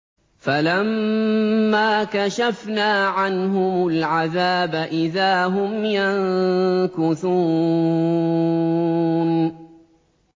فَلَمَّا كَشَفْنَا عَنْهُمُ الْعَذَابَ إِذَا هُمْ يَنكُثُونَ